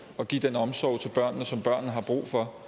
og give den omsorg til børnene som børnene har brug for